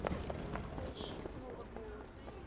поищи снова голый